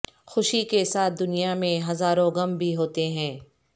خوشی کے ساتھ دنیا میں ہزاروں غم بھی ہوتے ہیں